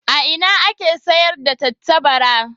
A ina ake sayar da tattabara?